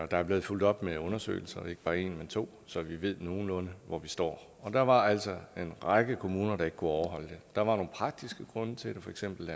der er blevet fulgt op med undersøgelser ikke bare en men to så vi ved nogenlunde hvor vi står der var altså en række kommuner der ikke kunne overholde det der var nogle praktiske grunde til det for eksempel